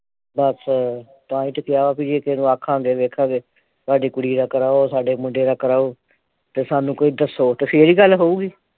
ਦੱਸ ਤਾਂ ਹੀ ਤੇ ਕਿਹਾ ਬਈ ਜੇ ਕਿਹੇ ਨੂੰ ਆਖਾਂਗੇ ਵੇਖਾਂਗੇ ਸਾਡੀ ਕੁੜੀ ਦਾ ਕਰਾਉ ਸਾਡੇ ਮੁੰਡੇ ਦਾ ਕਰਾਉ ਤੇ ਸਾਨੂੰ ਕੋਈ ਦੱਸੋ ਤੇ ਫਿਰ ਹੀ ਗੱਲ ਹੋਊਗੀ